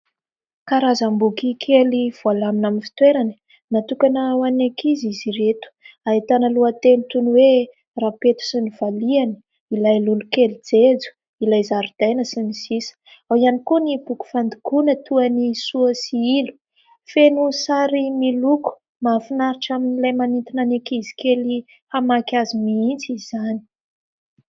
Karazam-boky kely voalamina amin'ny fitoerany natokana ho any ankizy izy ireto ahitana lohateny toy ny hoe: rapeto sy novaliany, ilay lolokely jejo, ilay zaridaina sy ny sisa. Ao ihany koa ny tokofandokona toa ny soasy sy hilo, feno sary miloko mahafinaritra amin'ilay manintona any ankizy kely hamaky azy mihintsy izany.